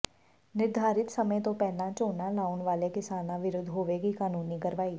ਨਿਰਧਾਰਿਤ ਸਮੇਂ ਤੋਂ ਪਹਿਲਾਂ ਝੋਨਾ ਲਾਉਣ ਵਾਲੇ ਕਿਸਾਨਾਂ ਵਿਰੁੱਧ ਹੋਵੇਗੀ ਕਾਨੂੰਨੀ ਕਾਰਵਾਈ